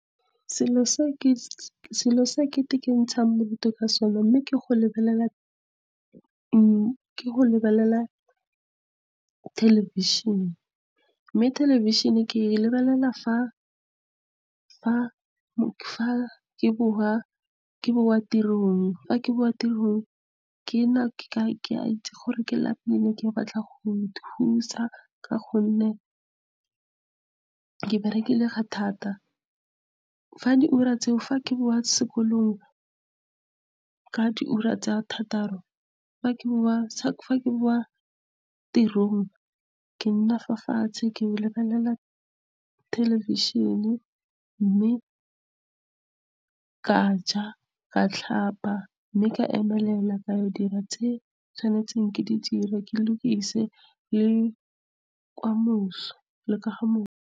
Selo se ke ikentshang bodutu ka sone mme ke go lebelela thelebišhene. Mme thelebišhene ke lebelela fa ke bowa tirong. Ke a itse gore ke lapile, ke batla go ikhutsa ka gonne ke berekile thata fa di ura tseo. Fa ke bowa sekolong ka di ura tsa thataro, fa ke bowa tirong, ke nna fa fatshe, ke lebelela television. Mme ke a ja, ke a tlhapa, mme ke a emelela ka ya go dira tse ke tshwanetseng ke di dire, ke lokise letsa kamoso.